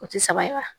O tɛ saba ye wa